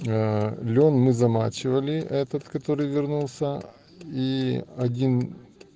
а лен мы замачивали этот который вернулся и один